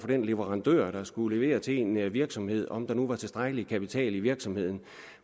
den leverandør der skulle levere til en virksomhed om der nu var tilstrækkelig kapital i virksomheden